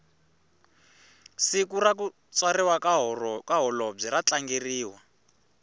siku rakutswariwa kahholobwe ratlangeriwa